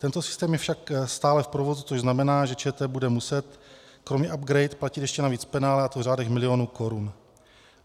Tento systém je však stále v provozu, což znamená, že ČT bude muset kromě upgrade platit ještě navíc penále, a to v řádech milionů korun.